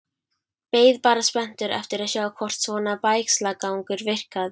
Beið bara spenntur eftir að sjá hvort svona bægslagangur virkaði.